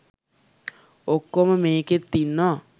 ඔක්කොම මේකෙත් ඉන්නවා.